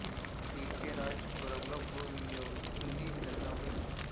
T K రాజపురంలో భూ వినియోగం కింది విధంగా ఉంది